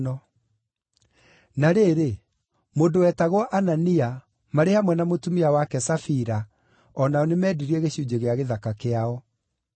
Na rĩrĩ, mũndũ wetagwo Anania, marĩ hamwe na mũtumia wake Safira o nao nĩmendirie gĩcunjĩ gĩa gĩthaka kĩao.